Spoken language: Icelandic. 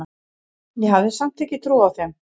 Ég hafði samt ekki trúað þeim.